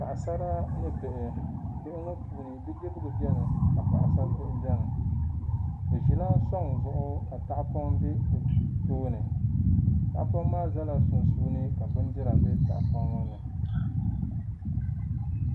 Paɣasara ni bihi bihi maa puuni bidibiga biɛni paɣasaribihi biɛni bɛ ʒila suŋ zuɣu ka tahapɔŋ be bɛ tooni tahapɔŋ maa zala sunsuuni ka ka bindira be tahapɔŋ maa ni.